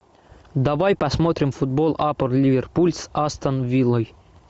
давай посмотрим футбол апл ливерпуль с астон виллой